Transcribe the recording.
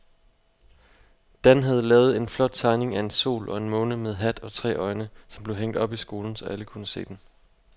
Dan havde lavet en flot tegning af en sol og en måne med hat og tre øjne, som blev hængt op i skolen, så alle kunne se den.